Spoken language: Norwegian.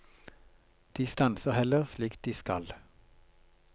De stanser heller, slik de skal.